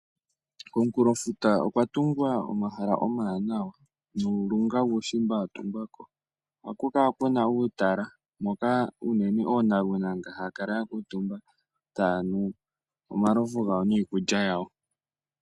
Komukulofuta okwa tungwa omahala omawanawa nuulunga wuushimba watungwako. Ohaku kala kuna uutala moka oonalunaanda haya kala yakuutumba taya nu omalovu gawo niikulya yawo .